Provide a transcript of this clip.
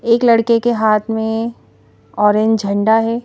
एक लड़के के हाथ में ऑरेंज झंडा है।